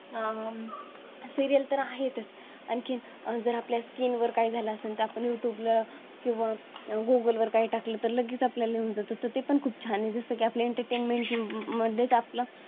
आह अं Serial तर आहेतच. आणखीन जर आपल्या Skin वर जर काही झालं असेल तर आपण Youtube ला किंवा Google वर काही टाकले तर लगेच आपल्या ला येऊन जातो ते पण खूप छान आहे. जसं की आपल्या Entertainment मध्येच आपला